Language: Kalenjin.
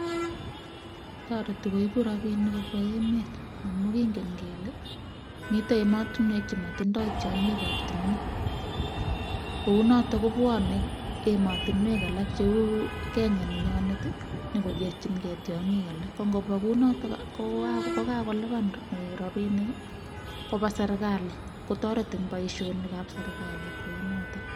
tareti koibu rabinik kobwa emet amu kingen kele mitei emotinwek chematinyei rabinik. nito anyun kobwonei emet ab kenya nenyonyokokerchinkei tyongik. ko kobwonei kokakoliban rabinik eng serkalit ce toreti keyai boisionik c ba serkalit